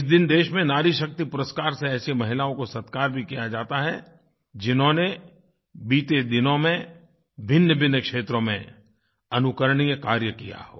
इस दिन देश में नारी शक्ति पुरस्कार से ऐसी महिलाओं को सत्कार भी किया जाता है जिन्होंने बीते दिनों में भिन्नभिन्न क्षेत्रों में अनुकरणीय कार्य किया हो